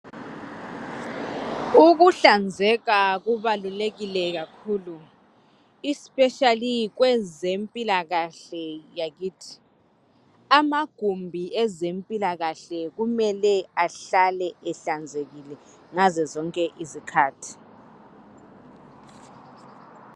Ukuhlanzeka kubalulekile kakhulu, especially kwezempilakahle yayithi. Amagumbi ezempilakahle kumele ahlale ehlanzekile ngazo zonke izikhathi.